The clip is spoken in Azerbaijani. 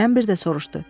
Kərəm bir də soruşdu: